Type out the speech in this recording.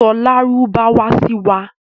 Sọ lárúbáwá sí wa.